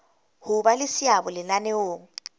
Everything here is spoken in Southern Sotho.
ho ba le seabo lenaneong